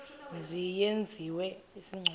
mzi yenziwe isigculelo